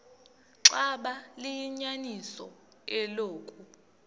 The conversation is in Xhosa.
xaba liyinyaniso eloku